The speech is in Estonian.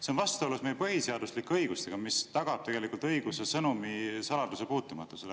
See on vastuolus meie põhiseaduslike õigustega, mis tagavad õiguse sõnumisaladusele.